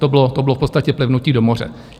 To bylo v podstatě plivnutí do moře.